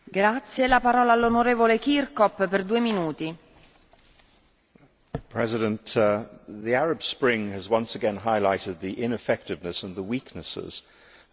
Madam President, the Arab Spring has once again highlighted the ineffectiveness and the weaknesses of current immigration arrangements across the EU.